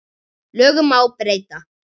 Lögum má breyta.